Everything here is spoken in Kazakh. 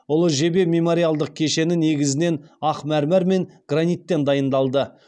ұлы жебе мемориалдық кешені негізінен ақ мәрмәр мен граниттен дайындалды